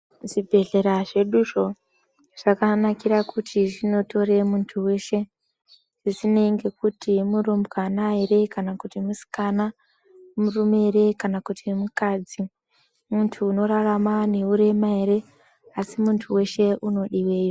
Zvibhedhlera zveduzvo zvakanakire kuti zvinotore muntu veshe zvisinei ngekuti murumbwana ere kana kuti musikana. Murume ere kana kuti mukadzi muntu unorarama neurema ere asi muntu veshe unodiveyo.